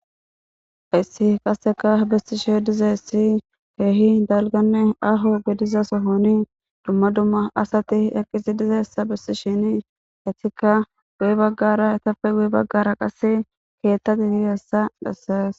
hayssi qaseka bessishe dizayssi keehi dalganne aho gediza sohoni dumma dumma asati eqqisi dizaysa besishe hetikka guy baggara etafe gu baggara qasse keettati hi hessa dhassees